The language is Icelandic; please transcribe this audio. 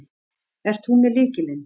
Ert þú með lykilinn?